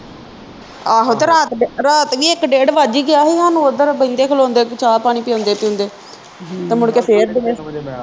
ਆਹੋ ਤੇ ਰਾਤ ਰਾਤ ਵੀ ਇਕ ਡੇਢ ਵੱਜ ਹੀ ਗਿਆ ਹੀ ਹਾਨੂੰ ਉਧਰ ਬਹਿੰਦੇ ਖਲੋਂਦੇ ਤੇ ਚਾਅ ਪਾਣੀ ਪਿਓਂਦੇ ਪੀਂਦੇ ਤੇ ਮੁੜਕੇ ਫਿਰ